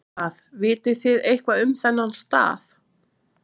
Hvað, vitið þið eitthvað um þennan stað?